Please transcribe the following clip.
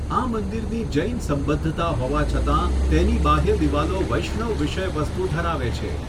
આ મંદિરની જૈન સંબદ્ધતા હોવા છતાં, તેની બાહ્ય દિવાલો વૈષ્ણવ વિષય વસ્તુ ધરાવે છે.